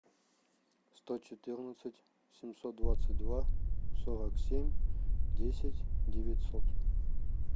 сто четырнадцать семьсот двадцать два сорок семь десять девятьсот